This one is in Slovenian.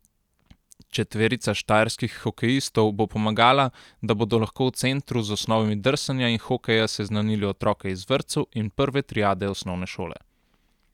Četverica štajerskih hokejistov bo pomagala, da bodo lahko v centru z osnovami drsanja in hokeja seznanili otroke iz vrtcev in prve triade osnovne šole.